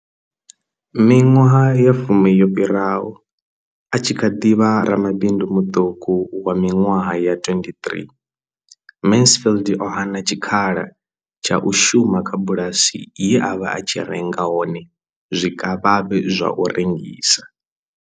Miṅwaha ya fumi yo fhiraho, a tshi kha ḓi vha ramabindu muṱuku wa miṅwaha ya 23, Mansfield o hana tshikhala tsha u shuma kha bulasi ye a vha a tshi renga hone zwikavhavhe zwa u rengisa.